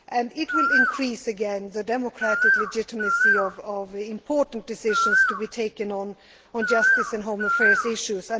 This will again increase the democratic legitimacy of the important decisions to be taken on justice and home affairs issues.